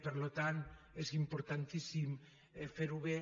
per tant és importantíssim fer ho bé